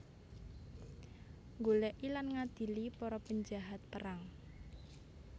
Nggolèki lan ngadili para penjahat perang